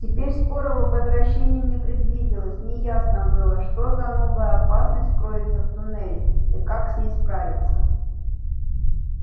теперь скорого возвращения не предвиделось неясно было что за новая опасность кроется в туннеле и как с ней справиться